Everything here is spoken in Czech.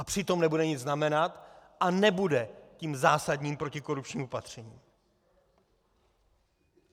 A přitom nebude nic znamenat a nebude tím zásadním protikorupčním opatřením.